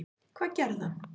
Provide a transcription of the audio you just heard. Hvað gerði hann?